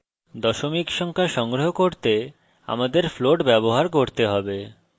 দশমিক সংখ্যা সংগ্রহ করতে আমাদের float ব্যবহার করতে have